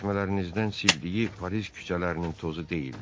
çəkmələrinizdən sildiyi Paris küçələrinin tozu deyildi.